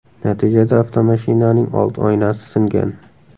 Natijada avtomashinaning old oynasi singan.